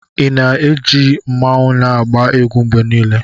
Ị na-eji mmanwu na-agba egwu mgbe niile?